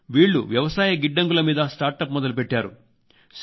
వీళ్లు వ్యవసాయ గిడ్డంగుల మీద స్టార్టప్ మొదలుపెట్టారు